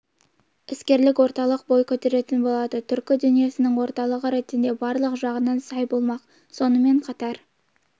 іскерлік орталық бой көтеретін болады түркі дүниесінің орталығы ретінде барлық жағынан сай болмақ сонымен қатар